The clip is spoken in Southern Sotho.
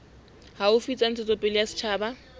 haufi tsa ntshetsopele ya setjhaba